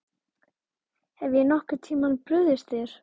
Hef ég nokkurn tíma brugðist þér?